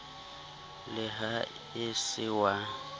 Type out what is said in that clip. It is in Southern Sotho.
le ha e se wa